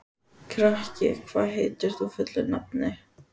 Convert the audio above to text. Kraki, hvað heitir þú fullu nafni?